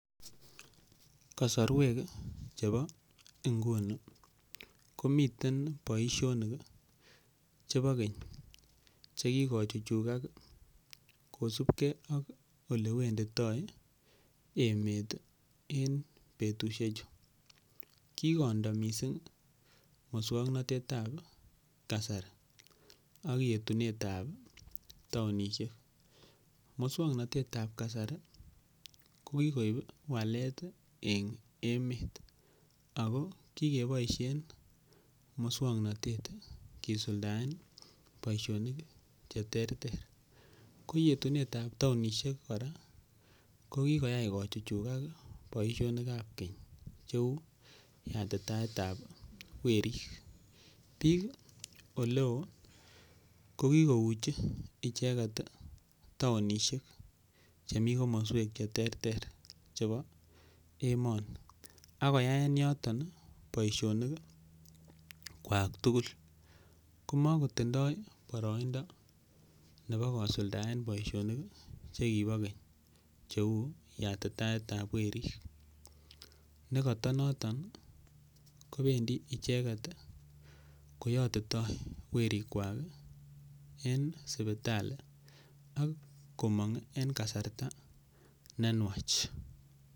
Kasarwek chebo nguni komiten boisiionik chebo keny che kigochuchugak kosibge ak ole wenditoi emet en betusheju. Kigondo mising muswoknatet ab kasari ak yetunet ab taonishek. Muswoknatet ab kasari ko kigoib walet en emet ago kigeboisien muswoknatet kisuldaen boisionik che terter. Ko yetunet ab taonishek kora, ko kigoyai kochuchugak boisionik ab keny cheu yatitaet ab werik. Biik ole o ko kigouchi icheget taonishek chemi kommoswek che terter chebo emoni ak koyaen yoto boisionik kwak tugul. Komakotindo boroindo nebo kusuldaen boisionik che kibo keny cheu yatitaet ab werik negoto noton kobendi icheget koyotito werikwak en sipitali ak komong en kasarta ne nwach.